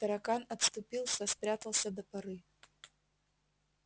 таракан отступился спрятался до поры